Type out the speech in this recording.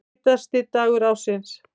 Heitasti dagur ársins